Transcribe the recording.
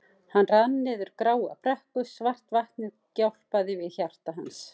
Hann rann niður gráa brekku, svart vatnið gjálpaði við hjarta hans.